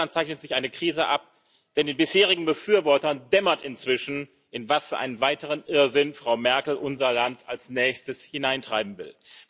Auch in Deutschland zeichnet sich eine Krise ab, denn den bisherigen Befürwortern dämmert inzwischen, in was für einen weiteren Irrsinn Frau Merkel unser Land als nächstes hineintreiben will.